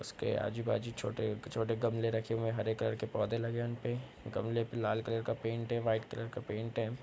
उसके आजु-बाजु छोटे-छोटे गमले रखे हुए है हरे कलर के पौधे लगे है उनपे गमले पे लाल कलर का पेंट है वाइट कलर का पेंट है।